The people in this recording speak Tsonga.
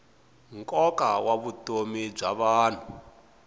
nkoka wa vutomi bya vanhu